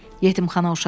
Yetimxana uşağı idi.